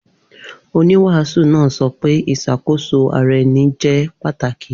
Oniwaasu naa sọ pe iṣakoso ara ẹni jẹ pataki